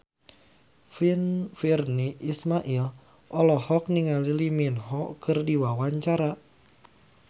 Virnie Ismail olohok ningali Lee Min Ho keur diwawancara